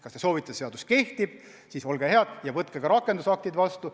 Kui te soovite, et seadus kehtib, siis olge head ja võtke ka rakendusaktid vastu.